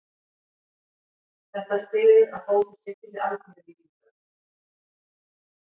Þetta styður að fótur sé fyrir alþýðuvísindunum.